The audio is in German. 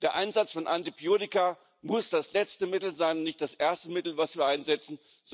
Der Einsatz von Antibiotika muss das letzte Mittel sein, nicht das erste Mittel, das wir einsetzen.